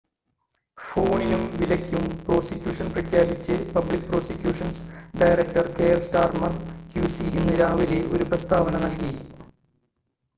ഫോണിനും വിലയ്ക്കും പ്രോസിക്യൂഷൻ പ്രഖ്യാപിച്ച് public prosecutions director Keir Starmer QC ഇന്ന് രാവിലെ ഒരു പ്രസ്താവന നൽകി